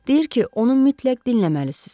Deyir ki, onun mütləq dinləməlisiz.